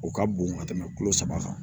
O ka bon ka tɛmɛ kolo saba kan